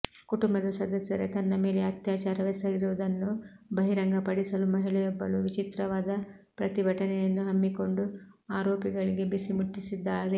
ಕುಟುಂಬದ ಸದಸ್ಯರೇ ತನ್ನ ಮೇಲೆ ಅತ್ಯಾಚಾರವೆಸಗಿರುವುದನ್ನು ಬಹಿರಂಗಪಡಿಸಲು ಮಹಿಳೆಯೊಬ್ಬಳು ವಿಚಿತ್ರವಾದ ಪ್ರತಿಭಟನೆಯನ್ನು ಹಮ್ಮಿಕೊಂಡು ಆರೋಪಿಗಳಿಗೆ ಬಿಸಿ ಮುಟ್ಟಿಸಿದ್ದಾರೆ